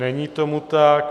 Není tomu tak.